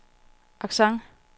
accent